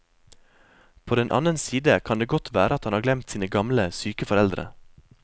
På den annen side kan det godt være at han har glemt sine gamle, syke foreldre.